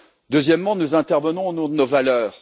Deuxièmement, nous intervenons au nom de nos valeurs.